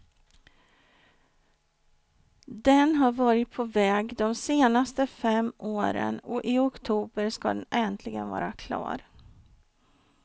Den har varit på väg de senaste fem åren och i oktober skall den äntligen vara klar.